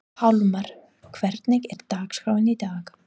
Pálmar, hvernig er dagskráin í dag?